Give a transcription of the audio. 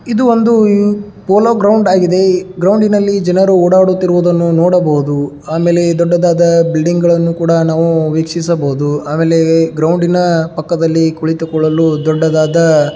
ಇದು ಒಂದು polo ground ಆಗಿದೆ ಈ ಗ್ರೌಂಡಿ ನಲ್ಲಿ ಜನರು ಓಡಾಡುತ್ತಿರುವುದನ್ನು ನೋಡಬಹುದು ಆಮೇಲೆ ದೊಡ್ಡದಾದ ಬಿಲ್ಡಿಂಗ್ ಗಳನ್ನು ಕೂಡ ನಾವು ವೀಕ್ಷಿಸಬಹುದು ಆಮೇಲೆ ಗ್ರೌಂಡಿ ನ ಪಕ್ಕದಲ್ಲಿ ಕುಳಿತುಕೊಳ್ಳಲು ದೊಡ್ಡದಾದ.